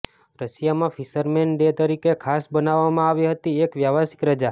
રશિયામાં fisherman day તરીકે ખાસ બનાવવામાં આવી હતી એક વ્યાવસાયિક રજા